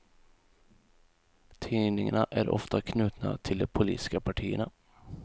Tidningarna är ofta knutna till de politiska partierna.